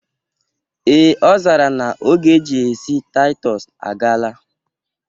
Ee' ọ zara na oge eji esi Taịtọs agala